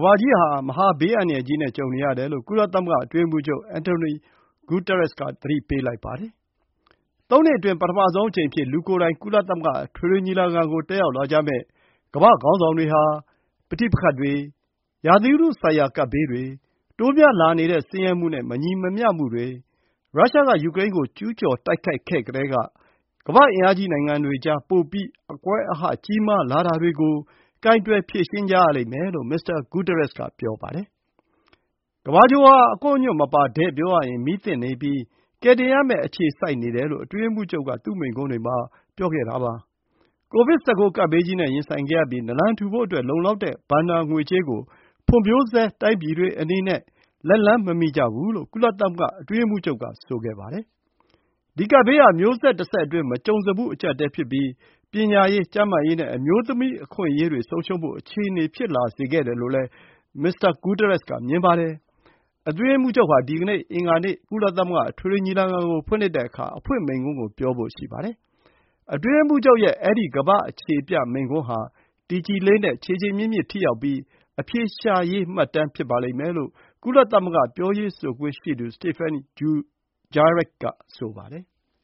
ဘာကြီးဟာ မဟာ ဘေးအန္တရာယ်ကြီးနဲ့ ကြုံနေရတယ်လို့ ကုလသမဂ္ဂအတွင်းရေးမှူးချုပ် Antonio Guterres က သတိပေးလိုက်ပါတယ်။ သုံးနှစ်အတွင်း ပထမဆုံးအကြိမ်အဖြစ် ကုလသမဂ္ဂအထွေထွေညီလာခံကို လူကိုယ်တိုင် တက်ရောက် လာကြမယ့် ကမ္ဘာ့ခေါင်းဆောင်တွေဟာ ပဋိပက္ခတွေ၊ ရာသီဥတုဆိုင်ရာ ကပ်ဘေးတွေ၊ တိုးများလာနေတဲ့ ဆင်းရဲမှု နဲ့ မညီမမျှမှုတွေ၊ ရုရှားက ယူကရိန်းကို ကျူးကျော်တိုက်ခိုက်ခဲ့ကတည်းက ကမ္ဘာ့ အင်အားကြီး နိုင်ငံတွေကြား ပိုပြီး အကွဲအဟ ကြီးမားလာတာတွေကို ကိုင်တွယ် ဖြေရှင်းကြရလိမ့်မယ်လို့ မစ္စတာ Guterres က ပြောပါတယ်။ ကမ္ဘာဂြိုဟ်ဟာ အကွန့်အညွန့်မပါ၊ တည့်ပြောရရင် မီးသင့်နေပြီး ကယ်တင်ရမယ့် အခြေစိုက်နေတယ်လို့ အတွင်းရေးမှူးချုပ်က သူ့မိန့်ခွန်းတွေမှာ ပြောခဲ့တာပါ။ ကိုဗစ် 19 ကပ်ဘေးကြီးနဲ့ ရင်ဆိုင်ခဲ့ရပြီး နလန်ထူဖို့အတွက် လုံလောက်တဲ့ ဘဏ္ဍာ ငွေကြေးကို ဖွံ့ဖြိုးဆဲတိုင်းပြည်တွေအနေနဲ့ လက်လှမ်းမမီကြဘူးလို့ ကုလသမဂ္ဂ အတွင်းရေးမှူးချုပ်က ဆိုခဲ့ပါတယ်။ ဒီ ကပ်ဘေးဟာ မျိုးဆက်တဆက်အတွင်း မကြုံစဖူး အကျပ်အတည်း ဖြစ်ပြီး ပညာရေး၊ ကျန်းမာရေး နဲ့ အမျိုးသမီးအခွင့်အရေးတွေ ဆုံးရှုံးဖို့ အခြေအနေ ဖြစ်လာစေခဲ့တယ်လို့လည်း မစ္စတာ ဂူးသရက်စ် က မြင်ပါတယ်။ အတွင်းရေးမှူးချုပ်ဟာ ဒီနေ့ အင်္ဂါနေ့မှာစတင်မယ့် ကုလသမဂ္ဂအထွေထွေညီလာခံ အဖွင့်မိန့်ခွန်း ပြောဖို့ ရှိပါတယ်။ အတွင်းရေးမှူးချုပ်ရဲ့ အဲဒီ ကမ္ဘာ့အခြေပြမိန့်ခွန်းဟာ “တည်ကြည်လေးနက် ခြေခြေမြစ်မြစ် ထိရောက်ပြီး အဖြေရှာရေးမှတ်တမ်း” ဖြစ်ပါတယ်လို့ ကုလသမဂ္ဂ ပြောရေးဆိုခွင့်ရှိသူ Stephane Dujarric က ဆိုပါတယ်။